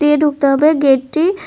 এ ঢুকতে হবে গেটটি।